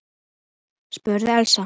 spurði Elsa.